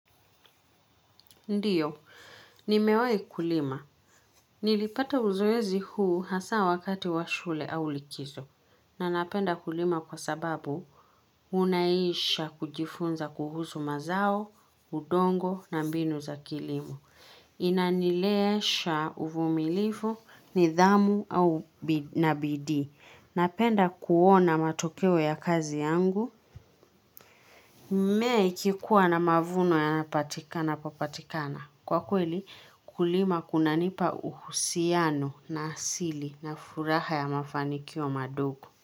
Ndiyo, nimewahi kulima. Nilipata uzoezi huu hasa wakati wa shule au likizo. Na napenda kulima kwasababu unaisha kujifunza kuhuzu mazao, udongo na mbinu za kilimo. Inanileesha uvumilifu, nidhamu na bidii. Napenda kuona matokeo ya kazi yangu. Mmea ikikuwa na mavuno yanapatikana papatikana. Kwa kweli, kulima kunanipa uhusiano na asili na furaha ya mafanikio madogo.